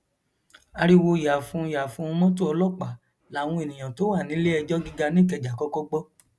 ariwo yààfúnùn yààfúnun mọtò ọlọpàá làwọn èèyàn tó wà níléẹjọ gíga nìkẹjà kọkọ gbọ